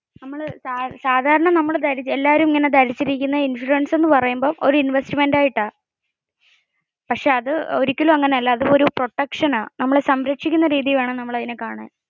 സാധാരണ നമ്മൾ എല്ലാരും ഇങ്ങനെ ധരിച്ചിരിക്കുന്നത് insurance ഒരു ഇൻവെസ്റ്റ്മെന്റ് ആയിട്ട പക്ഷെ അത് ഒരിക്കലും അങ്ങനെ അല്ല. അത് ഒരു പ്രൊട്ടക്ഷൻ ആണ്.